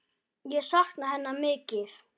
Ég sakna hennar mikið.